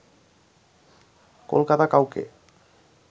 কলকাতা কাউকে